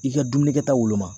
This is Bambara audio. I ka dumuni kɛta woloma